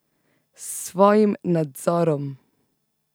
S svojim nadzorom!